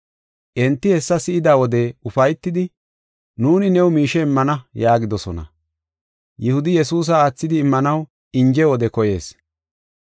Enti hessa si7ida wode ufaytidi, “Nuuni new miishe immana” yaagidosona; Yihudi Yesuusa aathidi immanaw inje wode koyees.